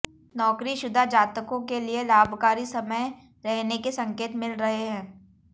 नौकरीशुदा जातकों के लिये लाभकारी समय रहने के संकेत मिल रहे हैं